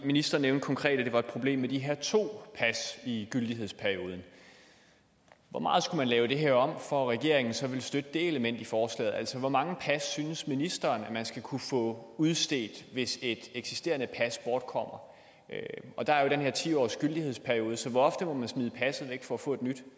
ministeren nævnte konkret at det var et problem med de her to pas i gyldighedsperioden hvor meget skulle man lave det her om for at regeringen så ville støtte det element i forslaget altså hvor mange pas synes ministeren at man skal kunne få udstedt hvis et eksisterende pas bortkommer der er jo den her ti årsgyldighedsperiode så hvor ofte må man smide passet væk for at få et nyt